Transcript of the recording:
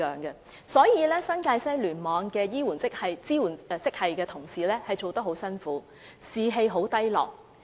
因此，新界西醫院聯網支援職系的同事工作得很辛苦，士氣十分低落。